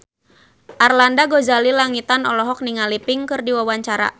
Arlanda Ghazali Langitan olohok ningali Pink keur diwawancara